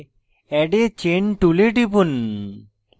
add a chain tool টিপুন